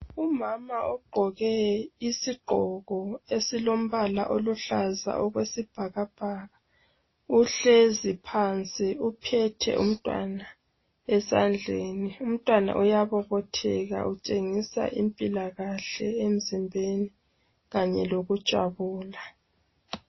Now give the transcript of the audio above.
Umama ogqoke isigqoko esilombala oluhlaza okwesibhakabhaka, uhlezi phansi uphethe umntwana esandleni. Umntwana uyabobotheka utshengisa impilakahle emzimbeni kanye lokujabula.